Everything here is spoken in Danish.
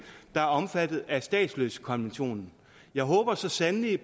der er omfattet af statsløsekonventionen jeg håber så sandelig